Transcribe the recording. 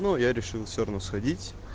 ну я решил все равно сходить